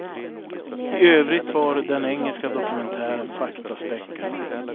I övrigt var den engelska dokumentären faktaspäckad.